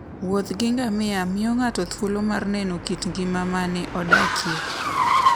Wuoth gi ngamia miyo ng'ato thuolo mar neno kit ngima ma ne odakie.